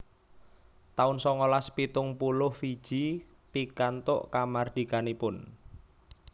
taun songolas pitung puluh Fiji pikantuk kamardikanipun